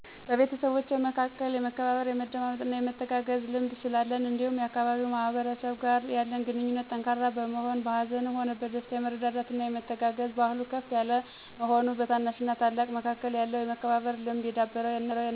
በቤተሰቦቼ መካከል የመከባበር፣ የመደማመጥና የመተጋገዝ ልምድ ስላለን እንዲሁም የአካባቢው ማህበረሰብ ጋር ያለን ግንኙነት ጠንካራ መሆን፤ በሀዘንም ሆነ በደስታ የመረዳዳትና የመተጋገዝ ባህሉ ከፍ የለ መሆኑ፤ በታናሽና ታላቅ መካከል ያለው የመከባበር ልምድ የዳበረ እና ያለው ለሌለው የማካፈልና የመተሳሰብብ ስሜቱ ከፍ ያለ በመሆኑ፤ አስተዳደጌ የግል ህይወቴን ከሌለው አለም ጋር እንዴት አስተሳስሬና ተግባብቼ መኖር እንድችል አግዞኛል